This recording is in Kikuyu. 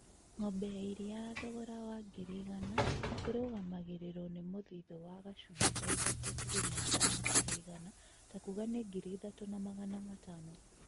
Ng'ombe ya iria ya thogora wa ngiri igana rĩmwe ĩrugamagirĩrũo nĩ mũthithũ wa gachunji ka ithatũ turuma ithano harĩ igana takuga ni ngiri ithatũ na magana matano